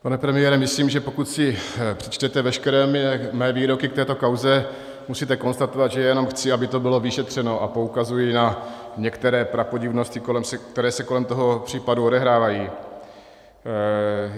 Pane premiére, myslím, že pokud si přečtete veškeré mé výroky k této kauze, musíte konstatovat, že jenom chci, aby to bylo vyšetřeno, a poukazuji na některé prapodivnosti, které se kolem toho případu odehrávají.